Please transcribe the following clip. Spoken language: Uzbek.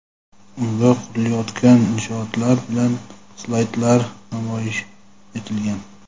unga qurilayotgan inshootlar bilan slaydlar namoyish etilgan.